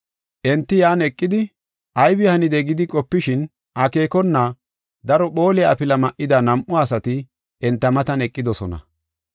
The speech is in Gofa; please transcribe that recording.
Enti yan eqidi aybi hanide gidi qopishin akeekona daro phooliya afila ma7ida nam7u asati enta matan eqidosona.